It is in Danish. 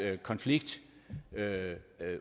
konflikt